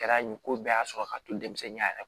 Kɛra yen ko bɛɛ y'a sɔrɔ ka to denmisɛnninya yɛrɛ